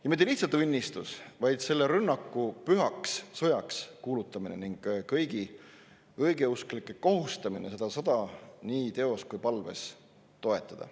Ja mitte lihtsalt õnnistus, vaid selle rünnaku pühaks sõjaks kuulutamine ning kõigi õigeusklike kohustamine seda sõda nii teos kui ka palves toetada.